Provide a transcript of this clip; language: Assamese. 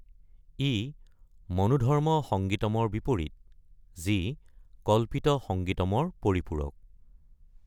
ই মনোধৰ্ম সংগীতমৰ বিপৰীত, যি কল্পিত সংগীতমৰ পৰিপূৰক।